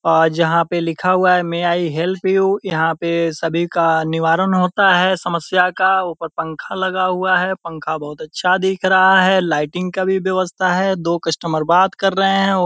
अ जहाँ पे लिखा हुआ है मे आई हेल्प यू यहाँ पे सभी का निवारण होता है समस्या का ऊपर पंखा लगा हुआ है पंखा बहुत अच्छा दिख रहा है लाइटिंग का भी व्यवस्था है दो कस्टमर बात कर रहे है --